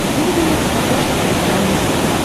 выведи мне на смотрешке телеканал муз тв